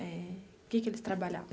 Eh que que eles trabalhavam?